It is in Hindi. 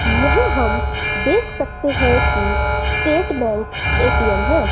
यहां हम देख सकते हैं कि स्टेट बैंक ए_टी_एम है।